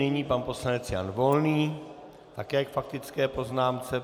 Nyní pan poslanec Jan Volný také k faktické poznámce.